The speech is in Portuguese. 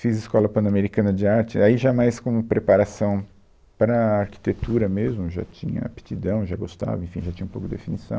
Fiz Escola Pan-Americana de Arte, aí já mais como preparação para arquitetura mesmo, já tinha aptidão, já gostava, enfim, já tinha um pouco de definição.